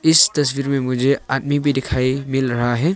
इस तस्वीर में मुझे आदमी भी दिखाई मिल रहा है।